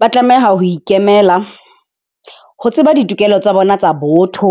Ba tlameha ho ikemela ho tseba ditokelo tsa bona tsa botho,